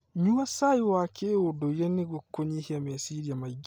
Nyua cai wa kĩndũire nĩguo kũnyihia meciria maingĩ.